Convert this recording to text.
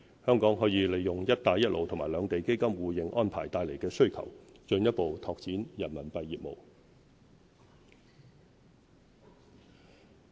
香港可以利用"一帶一路"和兩地基金互認安排帶來的需求，進一步拓展人民幣業務。